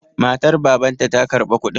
Matar Babanta ta karba kuɗin.